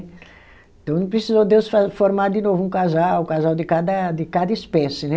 Então não precisou Deus fa, formar de novo um casal, um casal de cada de cada espécie, né?